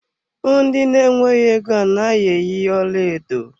Ndị na-nweghi égo a naghị eyi ọlaedo.